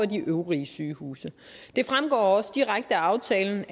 de øvrige sygehuse det fremgår også direkte af aftalen